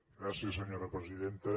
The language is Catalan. gràcies senyora presidenta